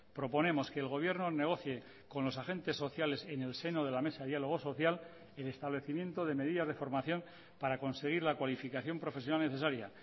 proponemos que el gobierno negocie con los agentes sociales en el seno de la mesa de diálogo social el establecimiento de medidas de formación para conseguir la cualificación profesional necesaria